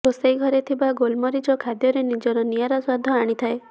ରୋଷେଇଘରେ ଥିବା ଗୋଲମରିଚ ଖାଦ୍ୟରେ ନିଜର ନିଆରା ସ୍ୱାଦ ଆଣିଥାଏ